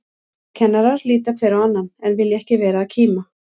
Kennarar líta hver á annan, en vilja ekki vera að kíma.